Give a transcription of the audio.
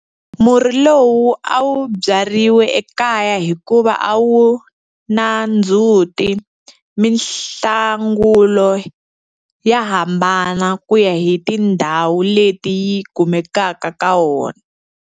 Murhi lowu a wu byariwe ekaya hikuva a wu na ndzhuti. Mihlangula ya hambana ku ya hi tindhawu leti yi kumekaka ka wona.